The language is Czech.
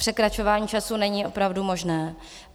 Překračování času není opravdu možné.